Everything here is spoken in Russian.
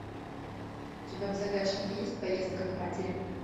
у тебя в загашнике есть поездка к матери